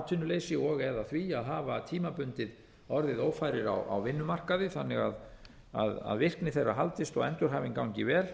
atvinnuleysi og eða því að hafa tímabundið orðið ófærir á vinnumarkaði þannig að virkni þeirra haldist og endurhæfing gangi vel